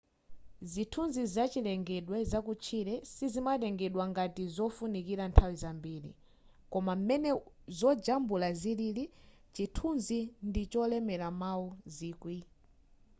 zithunzi zachilengedwe zakutchire sizimatengedwa ngati zofunikira nthawi zambiri koma m'mene zojambula zilili chithunzi ndicholemera mawu zikwi